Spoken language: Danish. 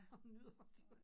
Og nyder det